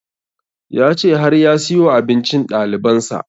Ya ce har ya siyo abincin ɗaliban sa